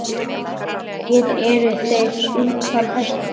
Hér eru þeir utan hættu.